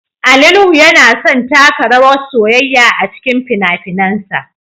Ali Nuhu yana son taka rawar soyayya a cikin fina-finansa